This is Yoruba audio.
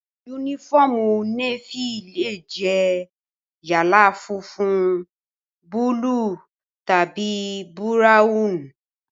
Yúnífọ́ọ̀mù Nééfì lè jẹ́ yálà funfun, búúlù tàbí búráwùn